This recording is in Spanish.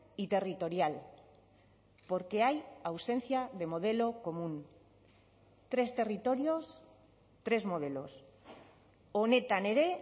y territorial porque hay ausencia de modelo común tres territorios tres modelos honetan ere